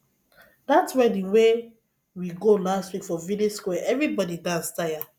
dat wedding wey we go last week for village square everybodi dance tire